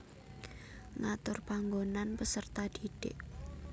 Ngatur panggonan peserta didik